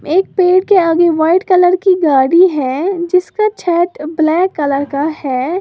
एक पेड़ के आगे व्हाइट कलर की गाड़ी है जिसका छत ब्लैक कलर का है।